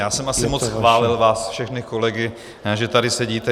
Já jsem asi moc chválil vás všechny kolegy, že tady sedíte.